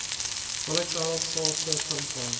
volatile sulfur compound